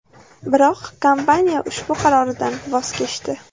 Biroq kompaniya ushbu qaroridan voz kechdi.